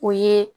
O ye